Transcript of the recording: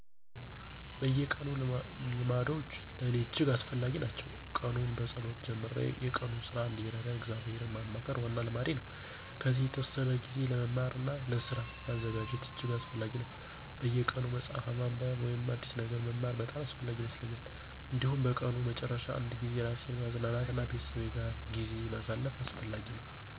አዎን፣ በየቀኑ ልማዶች ለእኔ እጅግ አስፈላጊ ናቸው። ቀኑን በጸሎት ጀምሮ የቀኑን ሥራ እንዲረዳኝ እግዚአብሔርን ማማከር ዋና ልማዴ ነው። ከዚያ የተወሰነ ጊዜ ለመማር እና ለስራ ማዘጋጀት እጅግ አስፈላጊ ነው። በየቀኑ መጽሐፍ ማንበብ ወይም አዲስ ነገር መማር በጣም አስፈላጊ ይመስለኛል። እንዲሁም በቀኑ መጨረሻ አንድ ጊዜ ራሴን ማዝናናት እና ቤተሰብ ጋር ጊዜ ማሳለፍ አስፈላጊ ነው።